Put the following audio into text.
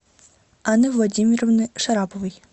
анны владимировны шараповой